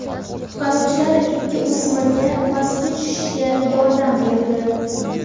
Qutqaruvchilar ikki o‘smirga pastga tushishga yordam berdi.